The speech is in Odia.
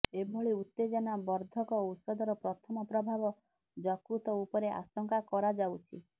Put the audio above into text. ଏଭଳି ଉତ୍ତେଜନା ବର୍ଦ୍ଧକ ଔଷଧର ପ୍ରଥମ ପ୍ରଭାବ ଜକୃତ ଉପରେ ଆଶଙ୍କା କରାଯାଉଛି